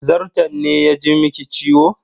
Zarton ne ya ji miki ciwo?